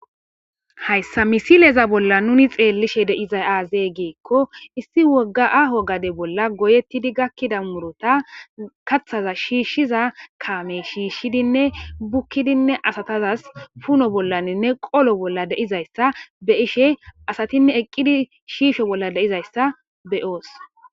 Hayssa misileza bolla nuni xeellishe deiza aazee geekko issi wogga aaho gade bolla goyettidi gakkida murota kathaza shiishshiza kaame shiishshidinne bukkidinne asatazas puno bollaninne qolo bolla deizayssa be ishe asatinne eqqidi shiisho bolla deizayssa beyoos.